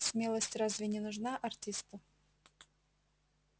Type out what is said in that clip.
смелость разве не нужна артисту